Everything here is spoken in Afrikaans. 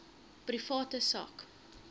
private sak